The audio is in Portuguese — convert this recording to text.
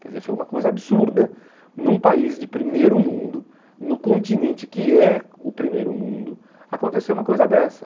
Quer dizer, foi uma coisa absurda, num país de primeiro mundo, no continente que é o primeiro mundo, acontecer uma coisa dessa.